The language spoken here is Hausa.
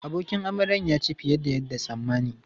Abokin amaryan ya ci fiye da yadda tsammani.